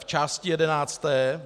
V části jedenácté .